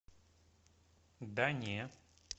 да не